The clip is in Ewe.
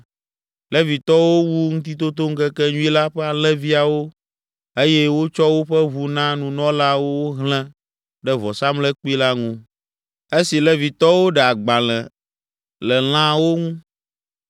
Levitɔwo wu Ŋutitotoŋkekenyui la ƒe alẽviawo eye wotsɔ woƒe ʋu na nunɔlaawo wohlẽ ɖe vɔsamlekpui la ŋu, esi Levitɔwo ɖe agbalẽ le lãawo ŋu.